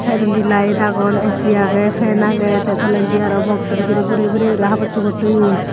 saidondi light agon ac agey fan agey tey tolendi aro baksu bidirey boreye boreyuri habossugor toyon.